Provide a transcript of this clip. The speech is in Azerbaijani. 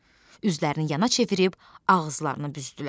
Üzlərini yana çevirib, ağızlarını büzdülər.